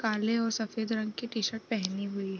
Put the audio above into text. काले और सफेद रंग के टी-शर्ट पहनी हुई --